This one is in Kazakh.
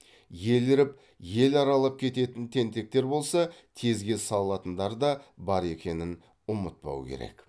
еліріп ел аралап кететін тентектер болса тезге салатындар да бар екенін ұмытпау керек